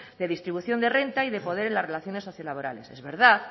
de distribución de renta y de poder en las relaciones socio laborales es verdad